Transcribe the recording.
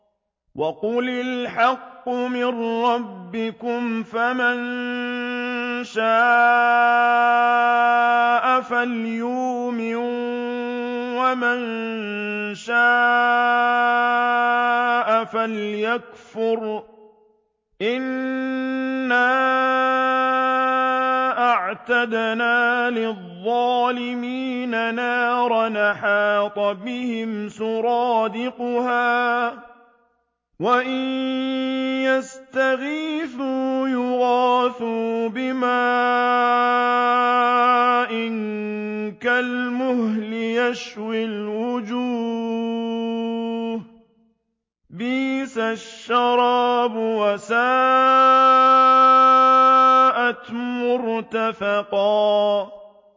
وَقُلِ الْحَقُّ مِن رَّبِّكُمْ ۖ فَمَن شَاءَ فَلْيُؤْمِن وَمَن شَاءَ فَلْيَكْفُرْ ۚ إِنَّا أَعْتَدْنَا لِلظَّالِمِينَ نَارًا أَحَاطَ بِهِمْ سُرَادِقُهَا ۚ وَإِن يَسْتَغِيثُوا يُغَاثُوا بِمَاءٍ كَالْمُهْلِ يَشْوِي الْوُجُوهَ ۚ بِئْسَ الشَّرَابُ وَسَاءَتْ مُرْتَفَقًا